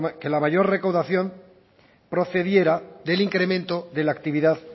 que la mayor recaudación procediera del incremento de la actividad